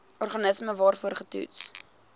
organisme waarvoor getoets